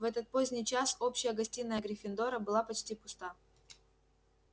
в этот поздний час общая гостиная гриффиндора была почти пуста